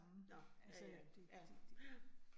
Nåh, ja ja, ja, ja